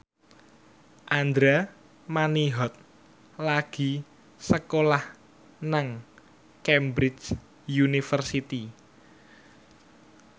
Andra Manihot lagi sekolah nang Cambridge University